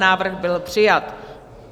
Návrh byl přijat.